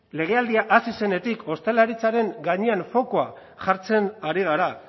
legealdia hasi zenetik ostalaritzaren gainean fokoa jartzen ari gara